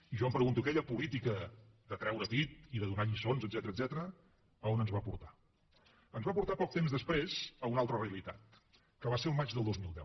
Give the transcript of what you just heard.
i jo em pregunto aquella política de treure pit i de donar lliçons etcètera on ens va portar ens va portar poc temps després a una altra realitat que va ser el maig del dos mil deu